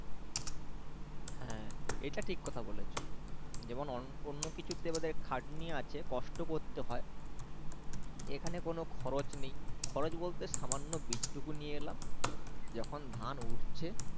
হ্যাঁ এটা ঠিক কথা বলেছো যেমন অন্য কিছুতে বোধয় খাটনি আছে কষ্ট করতে হয় এখানে কোনো খরজ নেই খরজ বলতে সামান্য বীজ টুকু নিয়ে এলাম যখন ধান উঠছে